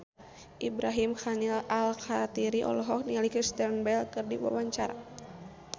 Ibrahim Khalil Alkatiri olohok ningali Kristen Bell keur diwawancara